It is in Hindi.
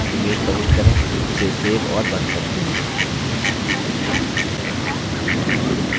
calc sheet में link के रूप में एक image प्रविष्ट करें इसे सेव और बंद करें